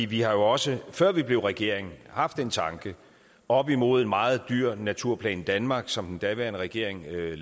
vi har jo også før vi blev regering haft den tanke oppe imod en meget dyr naturplan danmark som den daværende regering lavede